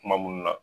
Kuma minnu na